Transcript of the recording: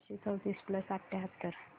बाराशे चौतीस प्लस अठ्याहत्तर